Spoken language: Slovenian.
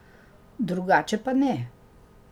Drugače pa ne.